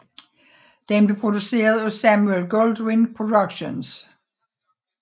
Den blev produceret af Samuel Goldwyn Productions